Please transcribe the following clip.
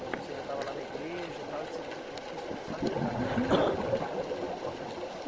Quando você ainda estava lá na igreja e tal, e que você qui quis começar a militar na Causa da Moradia?